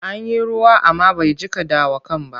An yi ruwa amma bai jiƙa dawakan ba.